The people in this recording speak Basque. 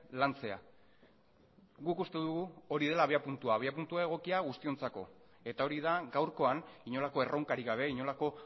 lantzea guk uste dugu hori dela abiapuntua abiapuntu egokia guztiontzako eta hori da gaurkoan inolako erronkarik gabe inolako